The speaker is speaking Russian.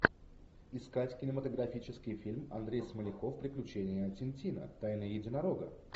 искать кинематографический фильм андрей смоляков приключения тин тина тайна единорога